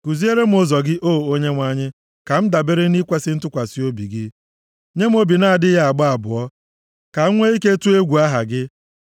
Kuziere m ụzọ gị, O Onyenwe anyị, ka m dabere nʼikwesị ntụkwasị obi gị; nye m obi na-adịghị agba abụọ, ka m nwee ike tụọ egwu aha gị.